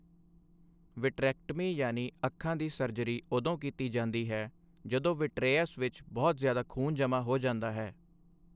Vitrectomy ਯਾਨੀ ਅੱਖਾਂ ਦੀ ਸਰਜਰੀ ਉਦੋਂ ਕੀਤੀ ਜਾਂਦੀ ਹੈ ਜਦੋਂ ਵਿਟ੍ਰੈਅਸ ਵਿੱਚ ਬਹੁਤ ਜ਼ਿਆਦਾ ਖੂਨ ਜਮਾਂ ਹੋ ਜਾਂਦਾ ਹੈ।